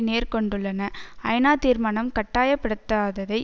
நேர் கொண்டுள்ளன ஐநா தீர்மானம் கட்டாயப்படுத்தாததைப்